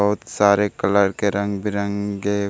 बहुत सारे कलर के रंग-बिरंगे --